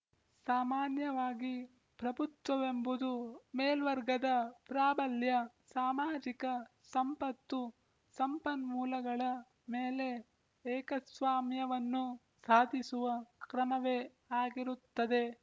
ಸಾಮಾನ್ಯವಾಗಿ ಪ್ರಭುತ್ವವೆಂಬುದು ಮೇಲ್ವರ್ಗದ ಪ್ರಾಬಲ್ಯ ಸಾಮಾಜಿಕ ಸಂಪತ್ತು ಸಂಪನ್ಮೂಲಗಳ ಮೇಲೆ ಏಕಸ್ವಾಮ್ಯವನ್ನು ಸಾಧಿಸುವ ಕ್ರಮವೇ ಆಗಿರುತ್ತದೆ